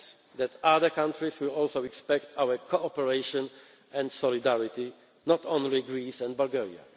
the only one, and that other countries will also expect our cooperation and solidarity, not only Greece